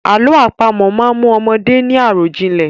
Àlọ́ àpamọ̀ máa mú ọmọdé ní àròjìnlẹ̀.